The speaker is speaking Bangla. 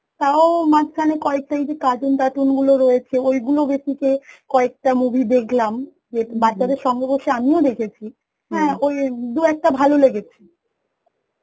তাও মাঝখানে কয়েকটা এই যে cartoon টার্তুন ফুল রয়েছে ঐগুলো basic এ কয়েকটা movie দেখলাম বাচ্চা দের সঙ্গে বসে আমিও দেখেছি ওই দু একটা ভালো লেগেছে